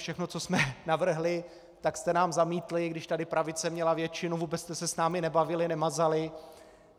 Všechno, co jsme navrhli, tak jste nám zamítli, když tady pravice měla většinu, vůbec jste se s námi nebavili, nemazali.